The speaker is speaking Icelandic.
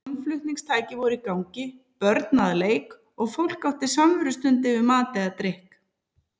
Hljómflutningstæki voru í gangi, börn að leik og fólk átti samverustund yfir mat eða drykk.